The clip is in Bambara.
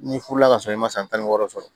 N'i furu la ka sɔrɔ i ma san tan ni wɔɔrɔ sɔrɔ